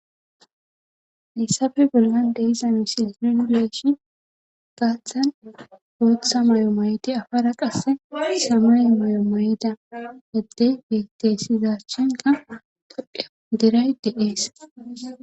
Issafe bollan de iza misi riduleeshi gaaththan booththa mayo mayeti afara qasse samuy mayo mayda eddey betteesizachenka toda diray deees.